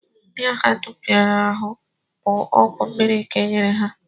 Ndị ahụ dum rịara ahụ bụ ọgwụ mmiri ka e nyere ha